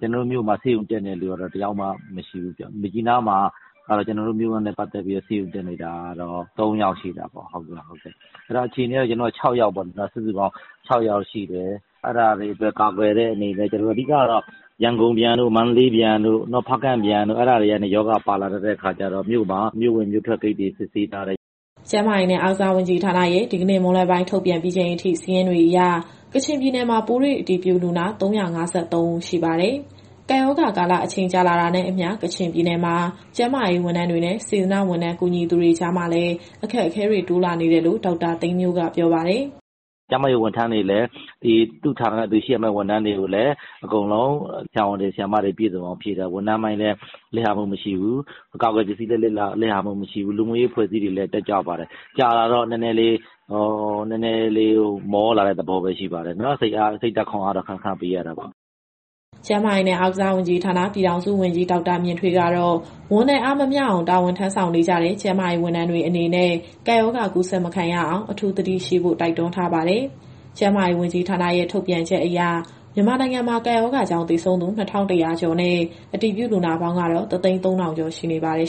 ကျနော်တို့မြို့မှာ ဆေးရုံတက်နေရတဲ့သူကတော့ တယောက်မှမရှိဘူး။ မြစ်ကြီးနားမှာကတော့ ကျနော်တို့မြို့နဲ့ ပတ်သက်ပြီး ဆေးရုံတက်နေရတာကတော့ သုံးယောက်ရှိတာပေါ့။ အဲဒီတော့ အခြေအနေတွေကတော့ ကျနော်တို့လူနာ စုစုပေါင်း ၆ ယောက်ရှိတယ်။ အဲဒါတွေအတွက် ကာကွယ်တဲ့အနေနဲ့ အဓိကကတော့ ရန်ကုန်နဲ့ မန္တလေး၊ နောက် ဖားကန့်ကနေ ပြန်လာသူတွေကနေ ရောဂါပါလာတတ်တဲ့အခါကျတော့ မြို့ဝင်မြို့ထွက်ဂိတ်တွေ စစ်ဆေးထားတယ်။" ကျန်းမာရေးနဲ့ အားကစားဝန်ကြီးဌာနရဲ့ ဒီကနေ့မွန်းလွဲပိုင်း ထုတ်ပြန်ပြီးချိန်အထိ စာရင်းတွေအရ ကချင်ပြည်နယ်မှာ ပိုးတွေ့အတည်ပြုလူနာ ၃၅၃ ဦးရှိပါတယ်။ ကပ်ရောဂါကာလ အချိန်ကြာလာတာနဲ့အမျှ ကချင်ပြည်နယ်မှာ ကျန်းမာရေးဝန်ထမ်းတွေနဲ့ စေတနာ့ဝန်ထမ်း ကူညီသူတွေ ကြားမှာလည်း အခက်အခဲတွေ တိုးလာနေတယ်လို့ ဒေါက်တာသိန်းမြို့က ပြောပါတယ်။ "ကျန်းမာရေးဝန်ထမ်းတွေလည်း သူ့ဌာနနဲ့သူရှိရမယ့်ဝန်ထမ်းတွေကိုလည်း အကုန်လုံးဆရာဝန်၊ ဆရာမတွေ ပြည့်စုံအောင်ဖြည့်ထားပါတယ်။ ဝန်ထမ်းပိုင်းလည်း လစ်ဟာမှုမရှိဘူး၊ အကာအကွယ်ပစ္စည်းလည်း လစ်ဟာမှုမရှိဘူး။ လူမှုရေးအဖွဲ့အစည်းတွေလည်း တက်ကြွပါတယ်။ ကြာလာတော့ နည်းနည်းလေး မောလာတဲ့သဘောပဲ ရှိပါတယ်၊ စိတ်ဓာတ်ခွန်အားတော့ ခဏခဏပေးရတာပေါ့။" ကျန်းမာရေးနဲ့ အားကစားဝန်ကြီးဌာန၊ ပြည်ထောင်စုဝန်ကြီး ဒေါက်တာမြင့်ထွေးကတော့ ဝန်နဲ့ အားမမျှအောင် တာဝန်ထမ်းဆောင်နေကြတဲ့ ကျန်းမာရေး ဝန်ထမ်းတွေအနေနဲ့ ကပ်ရောဂါကူးစက်မခံရအောင် အထူးသတိရှိဖို့ တိုက်တွန်းထားပါတယ်။ ကျန်းမာရေး ဝန်ကြီးဌာနရဲ့ ထုတ်ပြန်ချက်အရ မြန်မာနိုင်ငံမှာ ကပ်ရောဂါကြောင့် သေဆုံးသူ ၂,၁၀၀ ကျော်နဲ့ အတည်ပြုလူနာပေါင်းကတော့ ၁၀၃,၀၀၀ ကျော်ရှိနေပါတယ်